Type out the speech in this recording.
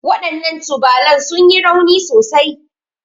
Waɗannan tubalan sun yi rauni sosai.